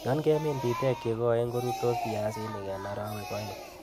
Yon kemin bitek chekoen ko rurtos biasinik en orowek oeng'.